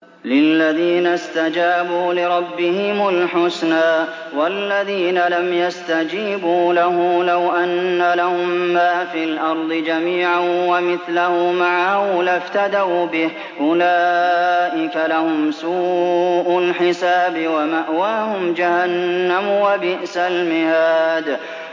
لِلَّذِينَ اسْتَجَابُوا لِرَبِّهِمُ الْحُسْنَىٰ ۚ وَالَّذِينَ لَمْ يَسْتَجِيبُوا لَهُ لَوْ أَنَّ لَهُم مَّا فِي الْأَرْضِ جَمِيعًا وَمِثْلَهُ مَعَهُ لَافْتَدَوْا بِهِ ۚ أُولَٰئِكَ لَهُمْ سُوءُ الْحِسَابِ وَمَأْوَاهُمْ جَهَنَّمُ ۖ وَبِئْسَ الْمِهَادُ